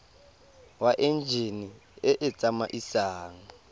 wa enjine e e tsamaisang